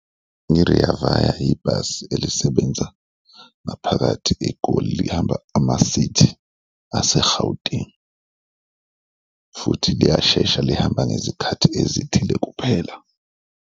Nge-Rea Vaya ibhasi elisebenza ngaphakathi eGoli. Lihamba ama-city ase-Gauteng futhi liyashesha, lihamba ngezikhathi ezithile kuphela.